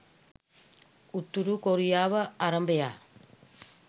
උතුරු කොරියාව අරබයා